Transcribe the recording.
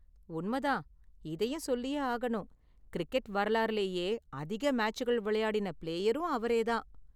உண்மை தான். இதயும் சொல்லியே ஆகணும், கிரிக்கெட் வரலாறுலேயே அதிக மேட்சுகள் விளையாடின பிளேயரும் அவரே தான்.